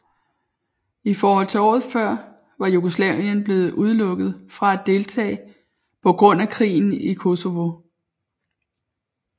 I forhold til året før var Jugoslavien blevet udelukket fra at deltage på grund af krigen i Kosovo